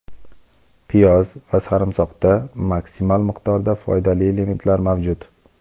Piyoz va sarimsoqda maksimal miqdorda foydali elementlar mavjud.